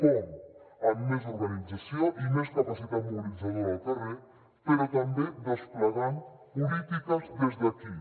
com amb més organització i més capacitat mobilitzadora al carrer però també desplegant polítiques des d’aquí